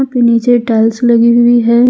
पे नीचे टाइल्स लगी हुई है।